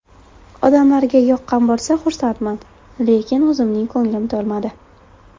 Odamlarga yoqqan bo‘lsa, xursandman, lekin o‘zimning ko‘nglim to‘lmadi.